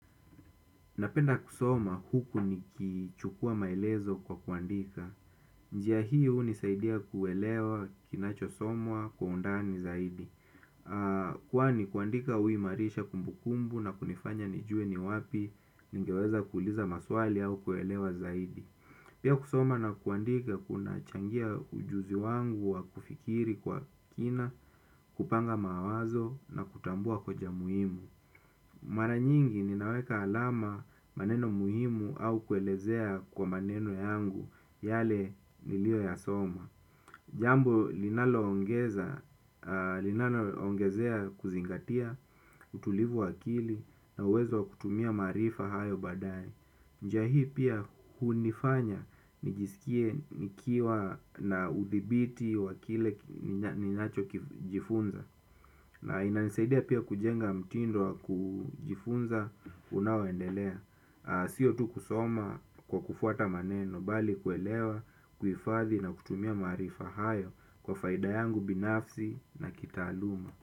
Napenda kusoma huku nikichukua maelezo kwa kuandika. Njia hiyo hunisaidia kuelewa kinachosomwa kwa undani zaidi. Kwani kuandika huu imarisha kumbukumbu na kunifanya nijuwe ni wapi ningeweza kuliza maswali au kuelewa zaidi. Pia kusoma na kuandika kuna changia ujuzi wangu wa kufikiri kwa kina, kupanga mawazo na kutambua koja muhimu. Mara nyingi ninaweka alama maneno muhimu au kuelezea kwa maneno yangu yale niliyo ya soma. Jambo linalo ongezea kuzingatia, utulivu wa akili na uwezo kutumia maarifa hayo baadaye. Njia hii pia hunifanya nijisikie nikiwa na udhibiti wa kile ninacho jifunza. Na ina nisaidia pia kujenga mtindo wa kujifunza unaoendelea. Sio tu kusoma kwa kufuata maneno bali kuelewa, kuhifadhi na kutumia maarifa hayo kwa faida yangu binafsi na kitaaluma.